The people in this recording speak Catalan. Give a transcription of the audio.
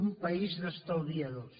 un país d’estalviadors